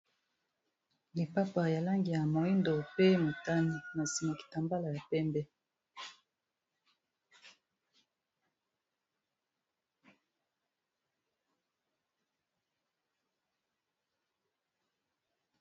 Lipapa ya langi ya moyindo pe motani na nsima kitambala ya pembe.